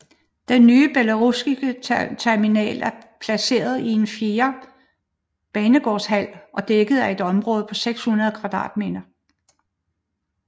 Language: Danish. Den nye Belorusskij terminal er placeret i en fjerde banegårdshal og dækker et område på 600 m²